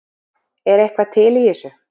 Er eitthvað til í þessu